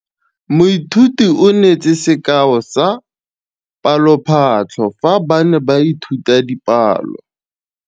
Moithuti o neetse sekaô sa palophatlo fa ba ne ba ithuta dipalo.